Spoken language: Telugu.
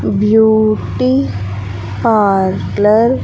Beauty parlour .